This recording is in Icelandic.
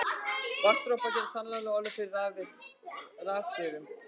Vatnsdropar geta sannarlega orðið fyrir rafhrifum.